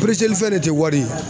fɛn de tɛ wari ye.